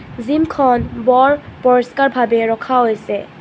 Gym খন বৰ পৰিষ্কাৰ ভাবে ৰখা হৈছে.